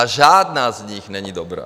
A žádná z nich není dobrá.